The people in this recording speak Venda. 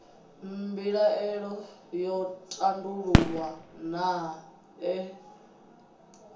mbilaelo yo tandululwa naa ee